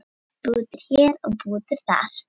Bútur hér og bútur þar.